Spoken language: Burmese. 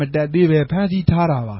မတပ်သေးပဲ ဖမ်းဆီးထားတာပ